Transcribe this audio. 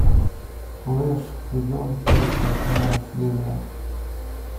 флэш сезон пять восьмая серия